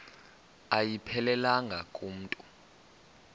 ayiphelelanga ku mntu